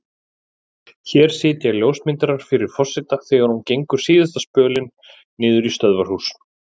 Hér sitja ljósmyndarar fyrir forseta þegar hún gengur síðasta spölinn niður í stöðvarhús.